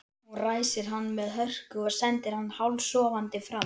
Úrskurður skipulagsstjóra ríkisins um mat á umhverfisáhrifum kísilgúrvinnslu úr Mývatni.